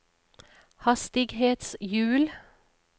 hastighetshjul